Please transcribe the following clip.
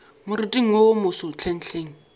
moriting wo wo moso hlenghleng